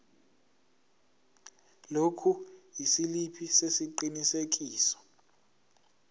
lokhu isiliphi sesiqinisekiso